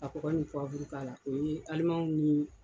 Ka kɔkɔ ni k'a la . O ye kalimanw ni